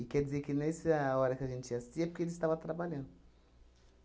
E quer dizer que nessa hora que a gente ia assistir é porque ele estava trabalhando.